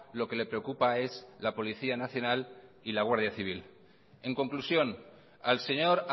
lo que le preocupa es la policía nacional y la guardia civil en conclusión al señor